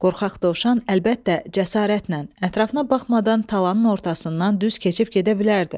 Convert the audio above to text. Qorxaq dovşan əlbəttə cəsarətlə ətrafına baxmadan talanın ortasından düz keçib gedə bilərdi.